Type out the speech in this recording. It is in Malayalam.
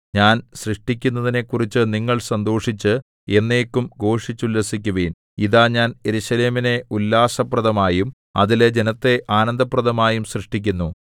ഞാൻ സൃഷ്ടിക്കുന്നതിനെക്കുറിച്ച് നിങ്ങൾ സന്തോഷിച്ച് എന്നേക്കും ഘോഷിച്ചുല്ലസിക്കുവിൻ ഇതാ ഞാൻ യെരൂശലേമിനെ ഉല്ലാസപ്രദമായും അതിലെ ജനത്തെ ആനന്ദപ്രദമായും സൃഷ്ടിക്കുന്നു